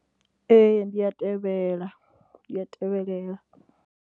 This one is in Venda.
Ee, ndi a tevhela, ndi a tevhelela.